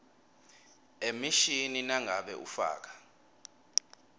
emishini nangabe ufaka